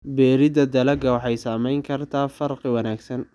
Beeridda dalagga waxay samayn kartaa farqi wanaagsan.